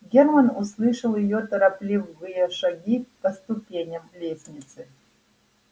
германн услышал её торопливые шаги по ступеням лестницы